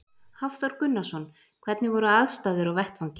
Hafþór Gunnarsson: Hvernig voru aðstæður á vettvangi?